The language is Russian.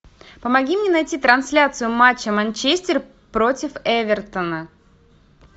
помоги мне найти трансляцию матча манчестер против эвертона